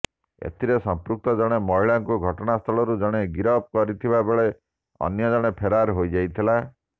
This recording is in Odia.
ଏଥିରେ ସମ୍ପୃକ୍ତ ଜଣେ ମହିଳାଙ୍କୁ ଘଟଣାସ୍ଥଳରୁ ଜଣେ ଗିରଫ କରିଥିବାବେଳେ ଅନ୍ୟ ଜଣେ ଫେରାର ହୋଇଯାଇଥିଲା